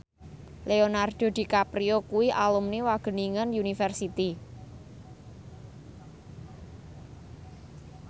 Leonardo DiCaprio kuwi alumni Wageningen University